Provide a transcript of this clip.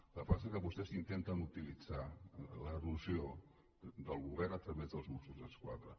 el que pas·sa que vostès ho intenten utilitzar l’erosió del govern a través dels mossos d’esquadra